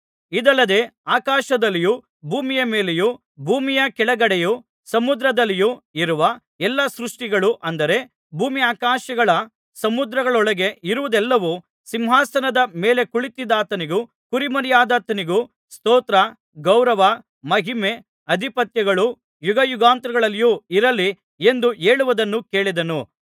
ಇದಲ್ಲದೆ ಆಕಾಶದಲ್ಲಿಯೂ ಭೂಮಿಯ ಮೇಲೆಯೂ ಭೂಮಿಯ ಕೆಳಗಡೆಯೂ ಸಮುದ್ರದಲ್ಲಿಯೂ ಇರುವ ಎಲ್ಲಾ ಸೃಷ್ಟಿಗಳೂ ಅಂದರೆ ಭೂಮ್ಯಾಕಾಶ ಸಮುದ್ರಗಳೊಳಗೆ ಇರುವುದೆಲ್ಲವೂ ಸಿಂಹಾಸನದ ಮೇಲೆ ಕುಳಿತಿದ್ದಾತನಿಗೂ ಕುರಿಮರಿಯಾದಾತನಿಗೂ ಸ್ತೋತ್ರ ಗೌರವ ಮಹಿಮೆ ಅಧಿಪತ್ಯಗಳು ಯುಗಯುಗಾಂತರಗಳಲ್ಲಿಯೂ ಇರಲಿ ಎಂದು ಹೇಳುವುದನ್ನು ಕೇಳಿದೆನು